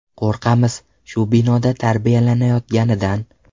Qo‘rqamiz shu binoda tarbiyalanayotganidan.